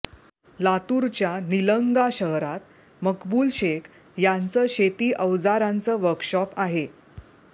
लातूरच्या निलंगा शहरात मकबूल शेख यांचं शेती अवजारांचं वर्कशॉप आहे